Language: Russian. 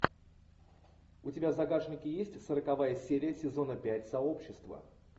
у тебя в загашнике есть сороковая серия сезона пять сообщество